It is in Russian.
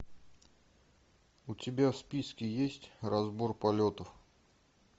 у тебя в списке есть разбор полетов